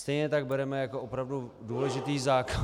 Stejně tak bereme jako opravdu důležitý zákon...